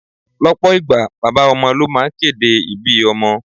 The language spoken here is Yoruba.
Lọpọ ìgbà, bàbá ọmọ ló máa ń kéde ibí ọmọ.